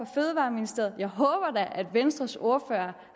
fødevareministeriet og jeg håber da at venstres ordfører